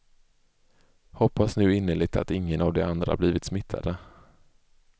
Hoppas nu innerligt att ingen av de andra blivit smittade.